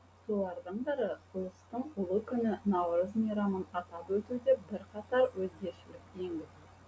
солардың бірі ұлыстың ұлы күні наурыз мейрамын атап өтуде бірқатар өзгешелік енгізу